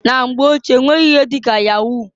Na mgbe ochie onweghi ihe di ka yahu.